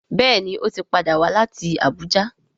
Béèni o tí pàdà wá láti Abuja.